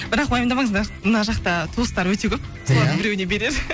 бірақ уайымдамаңыз мына жақта туыстары өте көп солардың біреуіне берер